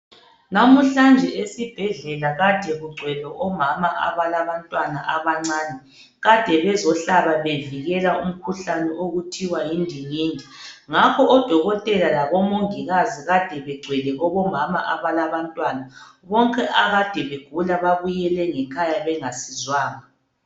Namuhlanje esibhedlela kade kugcwele omama abalabantwana abancane. Kade bezohlaba bevikela umkhuhlane okuthiwa yindingindi ngakho odokotela labomongikazi kade begcwele kubomama abalabantwana. Bonke akade begula babuyele ngekhaya bengasizwanga.